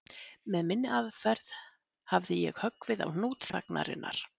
Með minni aðferð hafði ég höggvið á hnút þagnarinnar